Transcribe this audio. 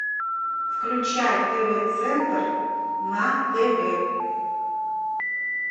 включай тв центр на тв